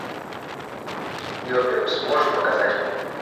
мебиус можешь показать